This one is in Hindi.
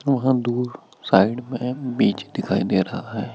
बहुत दूर साइड में बीच दिखाई दे रहा है।